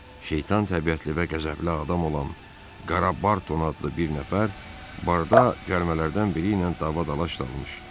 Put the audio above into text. Şeytan təbiətli və qəzəbli adam olan Qarobarton adlı bir nəfər barda cəlmələrdən biri ilə davadalash dalmış.